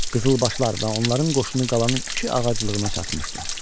Qızılbaşlar və onların qoşunu qalanın iki ağaclığına çatmışdı.